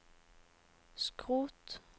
skrot